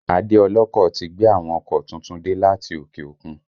Adé ọlọ́kọ̀ ti gbé àwọn ọkọ̀ tuntun dé láti òkè òkun